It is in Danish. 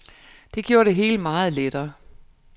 Det gjorde det hele meget lettere.